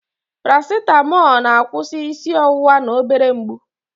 Parasitamọl na-akwụsị isi ọwụwa na obere mgbu.